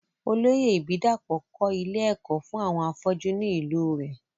Olóyè ìbídàpọ̀ kọ́ ilé ẹ̀kọ́ fún àwọn afọ́jú ni ìlú u rẹ̀